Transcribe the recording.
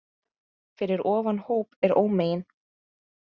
Fyrir ofan hóp er ómegin